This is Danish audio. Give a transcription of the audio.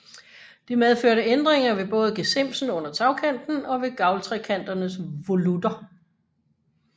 Det medførte ændringer ved både gesimsen under tagkanten og ved gavltrekanternes volutter